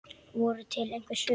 Voru til einhver svör?